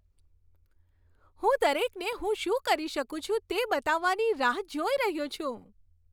હું દરેકને હું શું કરી શકું છું તે બતાવવાની રાહ જોઈ રહ્યો છું.